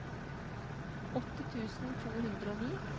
åtti tusen to hundre og ni